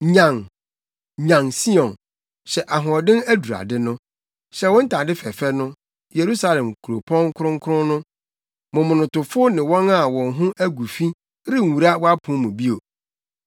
Nyan, nyan, Sion, hyɛ ahoɔden adurade no. Hyɛ wo ntade fɛɛfɛ no Yerusalem kuropɔn kronkron no. Momonotofo ne wɔn a wɔn ho agu fi renwura wʼapon mu bio.